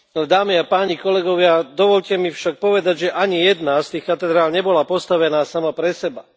Dámy a páni, kolegovia, dovoľte mi však povedať, že ani jedna z tých katedrál nebola postavená sama pre seba.